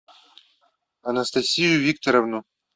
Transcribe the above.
анастасию викторовну